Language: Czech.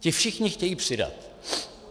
Ti všichni chtějí přidat.